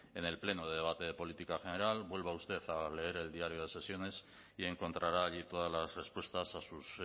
en el pleno de debate de política general vuelva usted a leer el diario de sesiones y encontrará allí todas las respuestas a sus